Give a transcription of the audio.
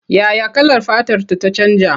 Ya ya kalar fatarta ta canja?